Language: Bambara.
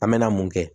An mɛna mun kɛ